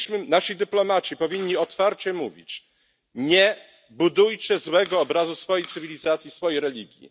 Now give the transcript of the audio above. Nasi dyplomaci powinni otwarcie mówić nie budujcie złego obrazu swojej cywilizacji, swojej religii.